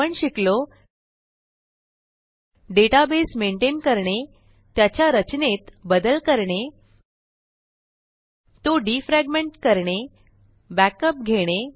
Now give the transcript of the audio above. आपण शिकलो database maintain करणे त्याच्या रचनेत बदल करणे तो डिफ्रॅगमेंट करणे बॅकअप घेणे